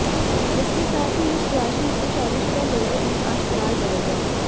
इसके साथ ही इस राशि के शादीशुदा लोगों में आज प्यार बढ़ेगा